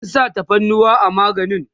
an sa tafarnuwa a maganin?